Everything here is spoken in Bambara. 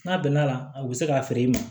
N'a bɛnn'a la a bɛ se k'a feere i ma